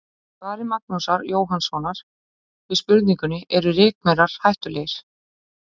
Í svari Magnúsar Jóhannssonar við spurningunni Eru rykmaurar hættulegir?